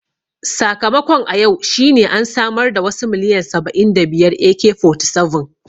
Sakamakon a yau shine an samar da wasu miliyan saba'in da biyar AK-47